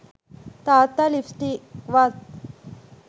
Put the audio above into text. තාත්තා ලිප්ස්ටික්වත්